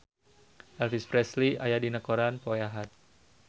Elvis Presley aya dina koran poe Ahad